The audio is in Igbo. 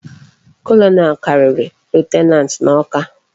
Colonel kariri lieutenant na okwa